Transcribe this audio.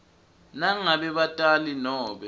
nangabe batali nobe